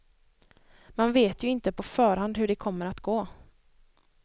Man vet ju inte på förhand hur det kommer att gå.